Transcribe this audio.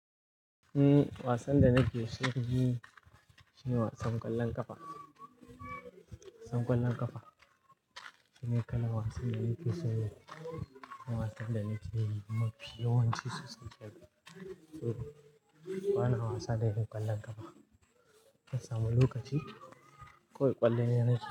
Umm, wasan da nake so yi shi ne wasan ƙwallon ƙafa. Wasan ƙwallon ƙafa shi ne kalan wasan da nake so yi ko wasan da nake yi mafi yawanci sosai. To bana wasa da yin ƙwallon ƙafa, ban samu lokaci ko ƙwalliye nake.